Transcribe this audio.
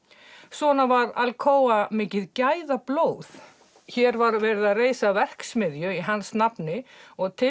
svona var Alcoa mikið gæðablóð hér var verið að reisa verksmiðju í hans nafni og til